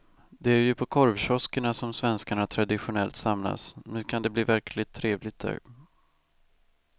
Det är ju på korvkioskerna som svenskarna traditionellt samlas, nu kan det bli verkligt trevligt där.